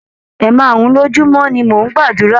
Ẹ̀máàrún-un lojúmọ́ ni mó n gbàdúrà.